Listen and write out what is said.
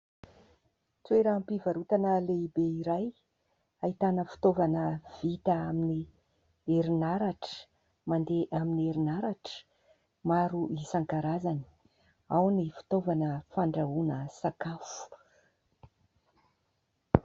Toeram-pivarotana lehibe iray, ahitana fitaovana vita amin'ny herinaratra, mandeha amin'ny herinaratra, maro isan-karazany ; ao ny fitaovana fandrahoana sakafo.